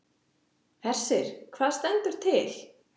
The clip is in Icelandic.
Hersir, hvað stendur til?